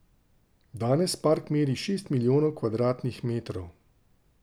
Danes park meri šest milijonov kvadratnih metrov.